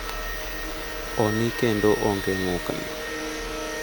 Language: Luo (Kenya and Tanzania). """Oni kendo ongee ng'ukni!"""